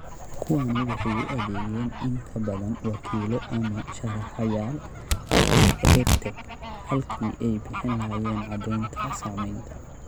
Kuwani waxay u adeegeen in ka badan wakiilo ama sharraxayaal waxtarka EdTech halkii ay bixin lahaayeen caddaynta saamaynta.